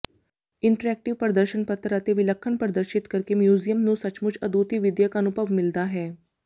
interactive ਪ੍ਰਦਰਸ਼ਤਪੱਤਰ ਅਤੇ ਵਿਲੱਖਣ ਪ੍ਰਦਰਸ਼ਿਤ ਕਰਕੇ ਮਿਊਜ਼ੀਅਮ ਨੂੰ ਸੱਚਮੁਚ ਅਦੁੱਤੀ ਵਿਦਿਅਕ ਅਨੁਭਵ ਮਿਲਦਾ ਹੈ